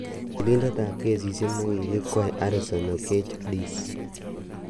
Tilindet ap kesishek nekikikwei Harrison Okeche Dis.